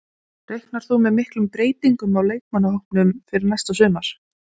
Reiknar þú með miklum breytingum á leikmannahópnum fyrir næsta sumar?